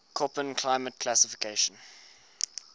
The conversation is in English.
koppen climate classification